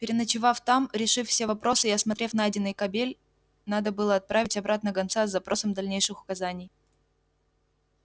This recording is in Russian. переночевав там решив все вопросы и осмотрев найденный кабель надо было отправить обратно гонца с запросом дальнейших указаний